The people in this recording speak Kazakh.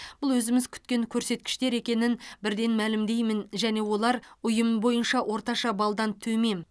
бұл өзіміз күткен көрсеткіштер екенін бірден мәлімдеймін және олар ұйым бойынша орташа балдан төмен